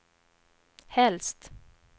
helst